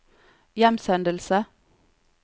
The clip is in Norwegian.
hjemsendelse